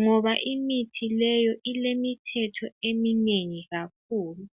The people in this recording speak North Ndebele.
ngoba imithi leyo, ilemithetho eminengi kakhulu.